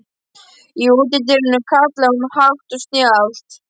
Í útidyrunum kallaði hún hátt og snjallt.